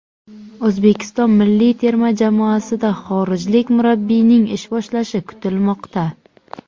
O‘zbekiston milliy terma jamoasida xorijlik murabbiyning ish boshlashi kutilmoqda.